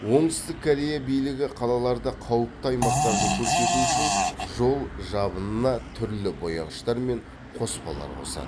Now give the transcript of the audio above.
оңтүстік корея билігі қалаларда қауіпті аймақтарды көрсету үшін жол жабынына түрлі бояғыштар мен қоспалар қосады